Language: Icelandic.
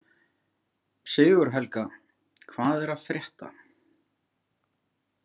Sigurhelga, hvað er að frétta?